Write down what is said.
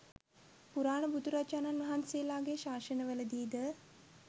පුරාණ බුදුරජාණන් වහන්සේලාගේ ශාසනවලදී ද